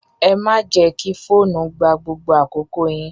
Ẹ má jẹ́ kí fóònù gba gbogbo àkókò yín!